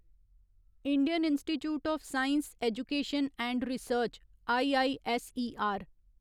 Indian Institute of Science Education and Research IISER